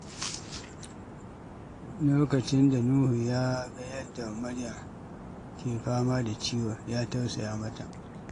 Lokacin da Nuhu ya ga yadda Maryam ke fama da ciwo, ya tausaya mata.